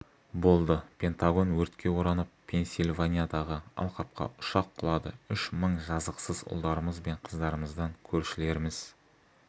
болды пентагон өртке оранып пенсильваниядағы алқапқа ұшақ құлады үш мың жазықсыз ұлдарымыз бен қыздарымыздан көршілеріміз